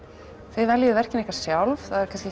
þið veljið verkin ykkar sjálf það er kannski